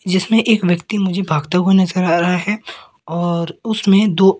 जिसमें एक व्यक्ति मुझे भागता हुआ नजर आ रहा है और उसमें दो--